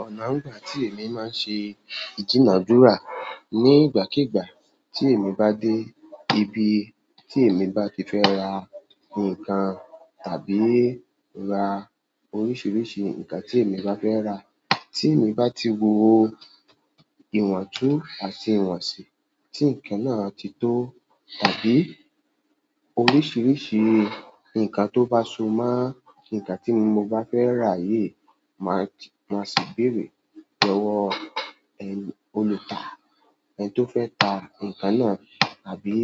Ọ̀nà àngbà tí èmi máa ń ṣe ìdunà dúrà ní ìgbàkígbà tí èmi bá dé ibi tí èmi bá ti fẹ́ ra nǹkan tàbí ra oríṣiríṣi nǹkan tí èmi bá fẹ́ rà. Tí èmi bá ti wo ìwọ̀ntún àti ìwọ̀nsì tí ǹkan náà ti tó tàbí oríṣiríṣi nǹkan tó bá so máa nǹkan tí mo bá fẹ́ ra yìí, máa sì béèrè lọ́wọ́ ẹni olùta, ẹni tó fẹ́ ta ǹkan náà tàbí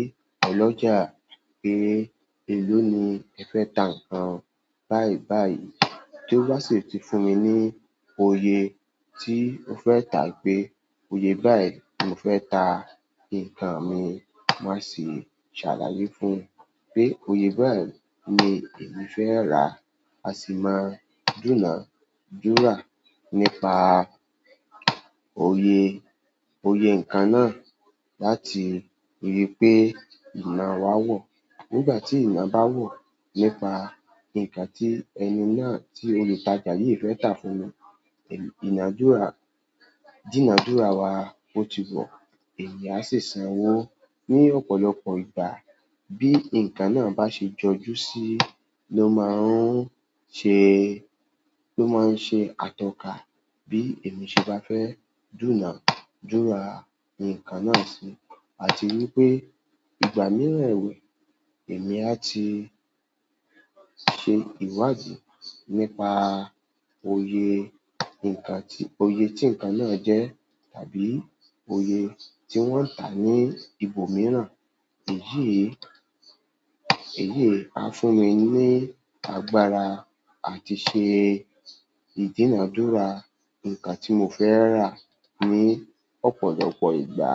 ọlọ́jà pé, "èló ni ẹ fẹ́ ta ǹkan?" Báyìí báyìí, tí ó bá sì ti fún mi ní oye tí ó fẹ́ ta pé, "oye báyìí ni mo fẹ́ ta ǹkan mi", màá sì ṣàlàyé fún un pé, "oye báyìí ni èmi fẹ́ rà". A sì máa dùnà dúrà nípa oyè, oyè ǹkan náà láti rí i pé ìná wa wọ̀. Nígbà tí ìná bá wọ̀ nípa ǹkan tí ẹni náà tí olùtajà yìí fẹ́ tà fún mi, ìnàdúrà, ìdunà dúrà wa ó ti wọ̀. Èèyàn a sì sanwó ní ọ̀pọ̀lọpọ̀ ìgbà bí ǹkan náà bá ṣe jọjú síi ló máa ń ṣe, ló máa ń ṣe atọ́ka bí èmi ṣe bá fẹ́ dùnà dúrà ǹkan náà síi. Àti wípé ìgbà mìíràn èwe èmi a ti ṣe ìwádìí nípa oyè ǹkan tí, oyè tí ǹkan náà jẹ́ tàbí oyè tí wọ́n ń tà ní ibòmíràn. Èyí, èyí a fún mi ní agbára àti ṣe ìjínà dúrà ǹkan tí mo fẹ́ rà ní ọ̀pọ̀lọpọ̀ ìgbà.